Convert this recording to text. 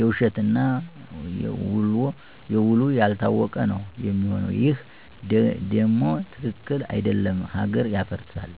የውሸት እና ውሉ ያልታወቀ ነው ሚሆነው ይሄ ደም ትክክል አደለም ሀገር ያፈርሳል።